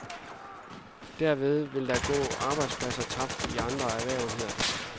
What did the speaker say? Derved vil der gå arbejdspladser tabt i andre erhverv, hedder det.